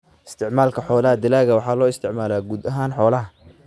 Isticmaalka Xoolaha Dalagga waxaa loo isticmaalaa quud ahaan xoolaha.